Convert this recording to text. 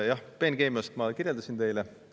Jah, peenkeemiat ma kirjeldasin teile.